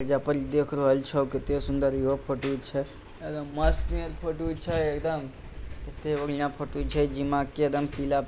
यहां पर दिख रहल छ कितनी सुन्दर यहो फोटो छे एकदम मस्त नियर फोटो छेएकदम | केती बढ़ियां फोटो छे जेमे एकदम पीला --